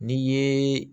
N'i ye